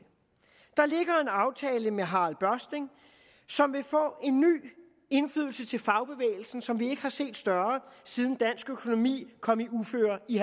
aftale med harald børsting som vil få en ny indflydelse til fagbevægelsen som vi ikke har set større siden dansk økonomi kom i uføre i